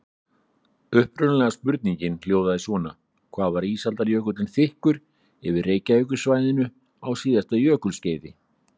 Upprunalega spurningin hljóðaði svona: Hvað var ísaldarjökullinn þykkur yfir Reykjavíkursvæðinu á síðasta jökulskeiði?